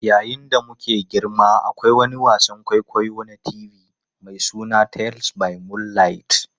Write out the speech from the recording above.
Yayin da muke girma, akwai wani wasan kwaikwayo na TV mai suna Tales by Moonlight.